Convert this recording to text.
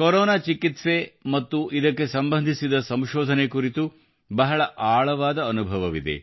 corona ಚಿಕಿತ್ಸೆ ಮತ್ತು ಇದಕ್ಕೆ ಸಂಬಂಧಿಸಿದ ಸಂಶೋಧನೆ ಕುರಿತು ಬಹಳ ಆಳವಾದ ಅನುಭವವಿದೆ